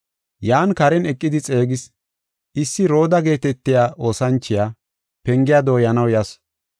Yan karen eqidi xeegis. Issi Rooda geetetiya oosanchiya pengiya dooyanaw yasu.